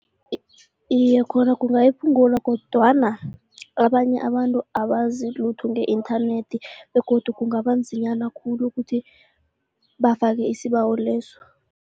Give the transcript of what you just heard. Iye, khona kungayiphungula kodwana abanye abantu abazi lutho nge-internet begodu kungaba nzinyana khulu ukuthi bafake isibawo leso.